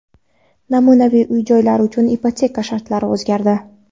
Namunaviy uy-joylar uchun ipoteka shartlari o‘zgardi.